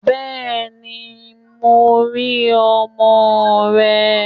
Bẹ́ẹ̀ni, mo ń rí ọmọ rẹ.